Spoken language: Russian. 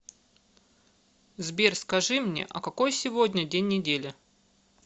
сбер скажи мне а какой сегодня день недели